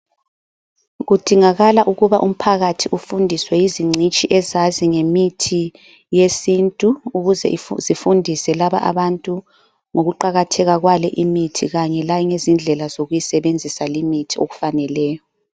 Kudingakala ukuba umphakathi ufundiswe izingcitshi ezazi ngemithi yesintu ukuze zifundise laba abantu ngokuqakatheka kwale imithi kanye lendlela zokuyisebenzisa imithi le ngendlela efaneleyo.